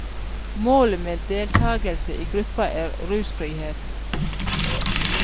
Målet med deltagelse i gruppa er rusfrihet.